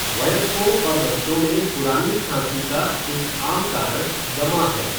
वयस्कों और बच्चों में पुरानी खांसी का एक आम कारण दमा है।